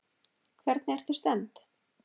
Hvernig ertu stemmd?